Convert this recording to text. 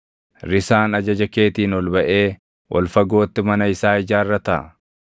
Risaan ajaja keetiin ol baʼee ol fagootti mana isaa ijaarrataa?